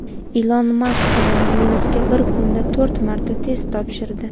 Ilon Mask koronavirusga bir kunda to‘rt marta test topshirdi.